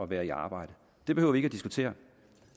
være i arbejde det behøver vi ikke at diskutere